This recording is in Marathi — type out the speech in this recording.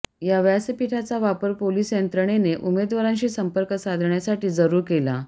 या व्यासपिठाचा वापर पोलीस यंत्रणेने उमेदवारांशी संपर्क साधण्यासाठी जरुर केला